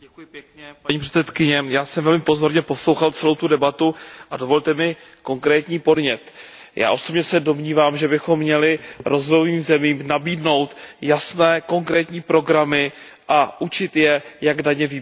Paní předsedající, já jsem velmi pozorně poslouchal celou tu debatu a dovolte mi konkrétní podnět. Já osobně se domnívám, že bychom měli rozvojovým zemím nabídnout jasné, konkrétní programy a učit je, jak daně vybírat.